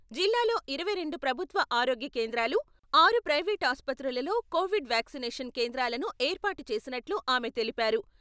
జిల్లాలో ఇరవై రెండు ప్రభుత్వ ఆరోగ్య కేంద్రాలు, ఆరు ప్రైవేట్ ఆసుపత్రులలో కోవిడ్ వ్యాక్సినేషన్ కేంద్రాలను ఏర్పాటు చేసినట్టు ఆమె తెలిపారు.